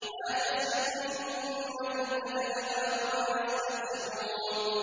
مَا تَسْبِقُ مِنْ أُمَّةٍ أَجَلَهَا وَمَا يَسْتَأْخِرُونَ